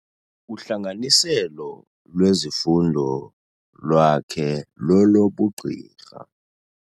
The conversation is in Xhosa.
Uhlanganiselo lwezifundo lwakhe lolobugqirha.